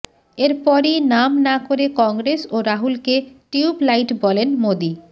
এরপরই নাম না করে কংগ্রেস ও রাহুলকে টিউবলাইট বলেন মোদী